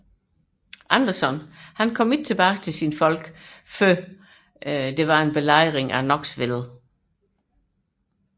Anderson kom ikke tilbage til sine folk før Belejringen af Knoxville